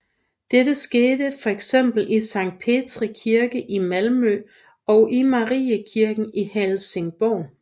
Dette skete fx i Sankt Petri Kirke i Malmø og i Mariekirken i Helsingborg